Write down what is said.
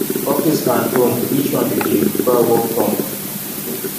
office and home which one you dey prefer work from